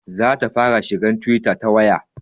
Za ta fara shiga twitter ta waya